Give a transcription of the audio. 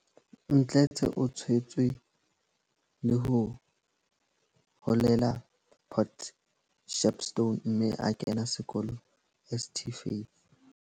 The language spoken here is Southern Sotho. Mdletshe o tshwetswe le ho holela Port Shepstone mme a kena sekolo St Faith.